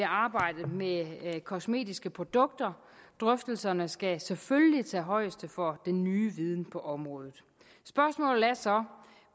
arbejdet med kosmetiske produkter drøftelserne skal selvfølgelig tage højde for den nye viden på området spørgsmålet er så